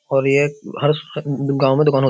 और ये हर स गांव में दुकान होत --